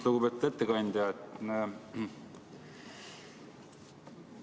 Lugupeetud ettekandja!